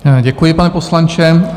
Děkuji, pane poslanče.